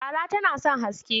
Fara tana son haske.